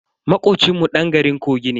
Makocin mu dan garin kogi ne.